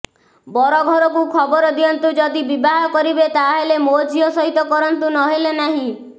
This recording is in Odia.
ବର ଘରକୁ ଖବର ଦିଅନ୍ତୁ ଯଦି ବିବାହ କରିବେ ତାହେଲେ ମୋ ଝିଅ ସହିତ କରନ୍ତୁ ନହେଲେ ନାହିଁ